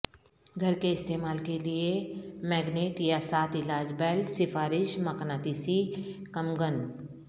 گھر کے استعمال کے لئے میگنےٹ یا ساتھ علاج بیلٹ سفارش مقناطیسی کمگن